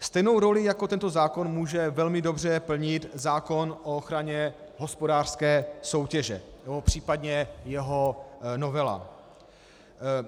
Stejnou roli jako tento zákon může velmi dobře plnit zákon o ochraně hospodářské soutěže nebo případně jeho novela.